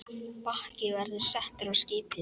Bakki verður settur á skipið.